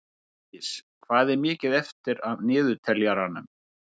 Hólmdís, hvað er mikið eftir af niðurteljaranum?